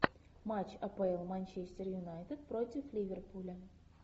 матч апл манчестер юнайтед против ливерпуля